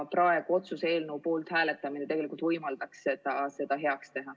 Praegu otsuse eelnõu poolt hääletamine tegelikult võimaldaks seda heaks teha.